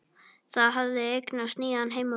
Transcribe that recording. Það hafði eignast nýjan heimavöll.